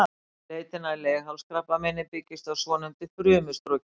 Leitin að leghálskrabbameini byggist á svonefndu frumustroki.